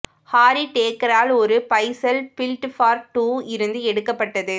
Harry டேக்கரால் ஒரு bicycle built for two இருந்து எடுக்கப்பட்டது